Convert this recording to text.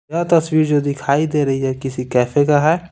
यह तस्वीर जो दिखाई दे रही है किसी कैफे का है।